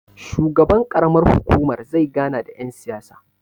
shugaban ƙaramar hukumar zai gana da yansiyasa